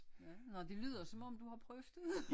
Ja nåh det lyder som om du har prøvet det